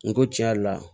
N ko tiɲɛ yɛrɛ la